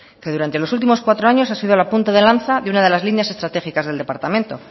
que durante los últimos cuatro años ha sido la punta de lanza de una de las líneas estratégicas del departamento